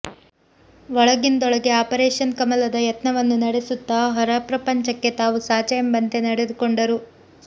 ಒಳಗಿಂದೊಳಗ್ಗೆ operation ಕಮಲದ ಯತ್ನವನ್ನು ನಡೆಸುತ್ತಾ ಹೊರ ಪ್ರಪಂಚಕ್ಕೆ ತಾವು ಸಾಚಾ ಎಂಬಂತೆ ನಡೆದುಕೊಂಡರು